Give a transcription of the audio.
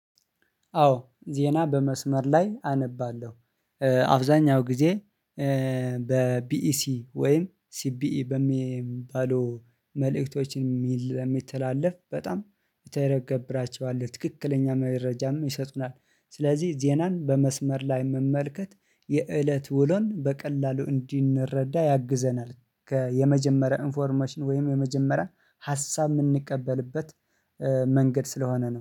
አወ ዜና በመስመር ላይ አነባለሁ። አብዛኛውን ጊዜ በ ቢኢሰ ወይም ሲቢኢ በሚባሉ መልእክቶችን የሚተላለፍ በጣም እተገብራቸዋለሁ ትክክለኛ መረጃም ይሰጡናል ስለዚህ ዜናን በመስመር ላይ መመልከት የእለት ውሎን በቀላሉ እንዲንረዳ ያግዘናል የመጀመሪያ ኢንፎርሜሽን ወይም የመጀመሪያ ሀሳብ የምንቀበልበት መንገድ ስለሆነ ነው